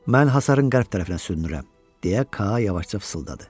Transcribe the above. Mən hasarın qərb tərəfinə sürünürəm, deyə Ka yavaşca fısıldadı.